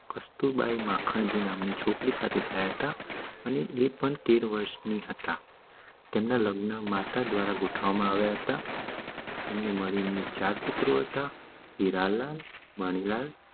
કસ્તૂરબાઈ મખાનજી નામ ની છોકરી સાથે થયા ટ એ પણ તેર વરસ ની હતા તેમના લગ્ન માતા દ્વારા ગોતવામાં આવ્યા હતા એમને મળીને ચાર પુત્રો હતા હીરાલાલ મણિલાલ